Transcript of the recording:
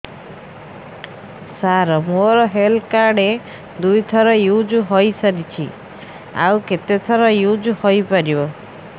ସାର ମୋ health card ଦୁଇ ଥର ୟୁଜ଼ ହୈ ସାରିଛି ଆଉ କେତେ ଥର ୟୁଜ଼ ହୈ ପାରିବ